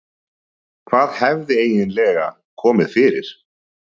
Hvað hafði eiginlega komið fyrir?